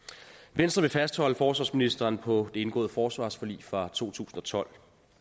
venstre vil fastholde forsvarsministeren på det indgåede forsvarsforlig fra to tusind og tolv